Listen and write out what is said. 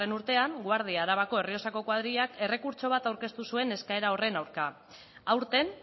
urtean guardia arabako errioxako koadrilak errekurtso bat aurkeztu zuen eskaera horren aurka aurten